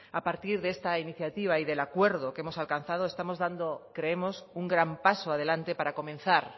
a partir de esta iniciativa y del acuerdo que hemos alcanzado estamos dando creemos un gran paso adelante para comenzar